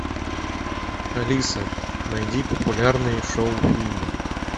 алиса найди популярные шоу фильмы